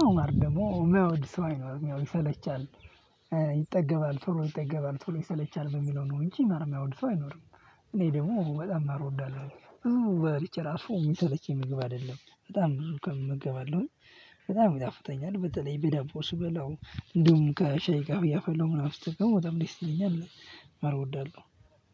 አዎ ማር ደግሞ የማያወድ ሰው አይኖርም ይሰለቻል። ይጠገባል ቶሎ ይጠገባል ቶሎ ይሰለቻል በሚለው ነው እንጂ ማር የማይወድ ሰው አይኖርም። እኔ ደግሞ በጣም ማር እወዳለሁ ብዙ በልቼ እራሱ የሚሰለቸኝ ምግብ አይደለም በጣም ብዙ ቀን እመገባለሁኝ አለው በጣም ይጣፍጠኛል በተለይ በዳቦ ስበላው እንዲሁም ከሻይ ጋር እያፈላው ምናምን ስጠጣው በጣም ደስ ይለኛል። ማር እወዳለሁ።